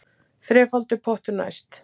Þrefaldur pottur næst